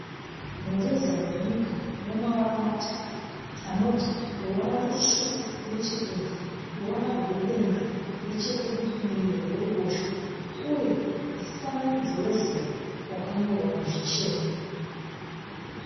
Mureza wenyika unemavara matatu. Anoti ruvara rusvuku nechekunze ,ruvara rwedenga neche kurudivi kuruboshwe, uye mufananidzo wezuva wakanyorwa nezvichena.